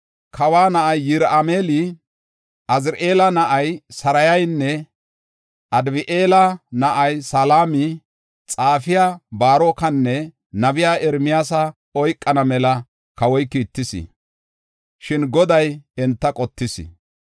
Kawa na7a Yirahima7eela, Aziri7eela na7aa Sarayanne Abdi7eela na7aa Selema, xaafiya Baarokanne nabiya Ermiyaasa oykana mela kawoy kiittis. Shin Goday enta qottis.